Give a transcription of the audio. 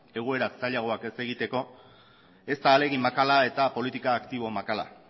egoera zailagoak ez egiteko ez da ahalegin makala eta politika aktibo makala